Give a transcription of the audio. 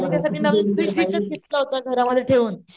त्यांच्यासाठी नवीन फ्रिज घेतलं होत घरा मध्ये ठेवून,